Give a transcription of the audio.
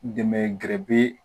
Dɛmɛ gɛrɛge